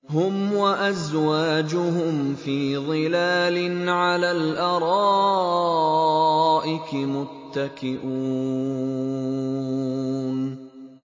هُمْ وَأَزْوَاجُهُمْ فِي ظِلَالٍ عَلَى الْأَرَائِكِ مُتَّكِئُونَ